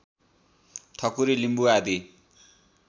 ठकु्री लिम्बु आदि